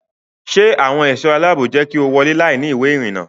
Ṣé àwọn ẹ̀ṣọ́ aláàbò jẹ́ kí o wọ́lé láìní ìwé ìrìnnà?